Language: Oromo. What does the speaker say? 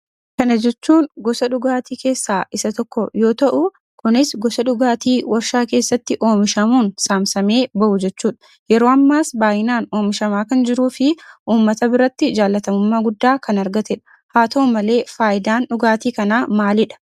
Kana jechuun gosa dhugaatii keessaa isaa tokko yoo ta'u, kunis gosa dhugaatii warshaa keessatti omishamuun saamsamee bahuu jechuudha. Yeroo ammaas baay'inaan omishamaa kan jiruufii uummata biratti jaallatamummaa gudda kan argatedha. Haa ta'u malee fayidaan dhugaati kanaa maalidha?